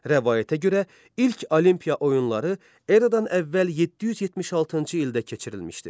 Rəvayətə görə, ilk Olimpiya oyunları eradan əvvəl 776-cı ildə keçirilmişdir.